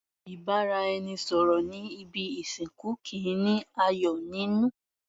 Ìbáraẹnisọ̀rọ̀ ní ibi ìsìnkú kìí ní ayọ̀ nínú.